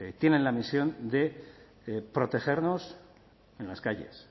tienen la misión de protegernos en las calles